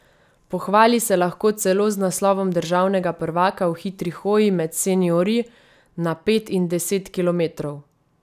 Pohvali se lahko celo z naslovom državnega prvaka v hitri hoji med seniorji na pet in deset kilometrov.